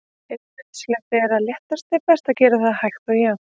Ef nauðsynlegt er að léttast er best að gera það hægt og jafnt.